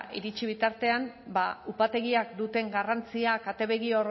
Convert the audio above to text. iritsi bitartean ba upategiak duten garrantzia katebegi